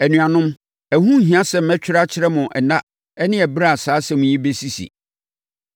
Anuanom, ɛho nhia sɛ mɛtwerɛ akyerɛ mo nna ne ɛberɛ a saa nsɛm yi bɛsisi.